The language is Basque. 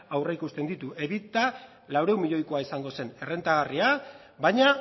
aurreikusten ditu laurehun milioikoa izango zen errentagarria baina